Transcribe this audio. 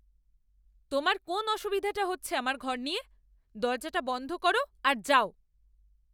তোমার কোন অসুবিধাটা হচ্ছে আমার ঘর নিয়ে? দরজাটা বন্ধ করো আর যাও।